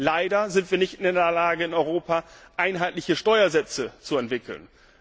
Leider sind wir nicht in der Lage, in Europa einheitliche Steuersätze zu entwickeln.